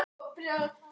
Hvað er mikill hiti?